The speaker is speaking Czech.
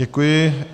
Děkuji.